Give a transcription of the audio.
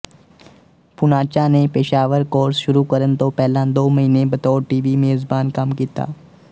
ਪੂਨਾਚਾ ਨੇ ਪੇਸ਼ਾਵਰ ਕੌਰਸ ਸ਼ੁਰੂ ਕਰਨ ਤੋਂ ਪਹਿਲਾਂ ਦੋ ਮਹੀਨੇ ਬਤੌਰ ਟੀਵੀ ਮੇਜ਼ਬਾਨ ਕੰਮ ਕੀਤਾ